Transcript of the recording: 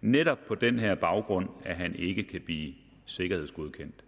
netop på den her baggrund at han ikke kan blive sikkerhedsgodkendt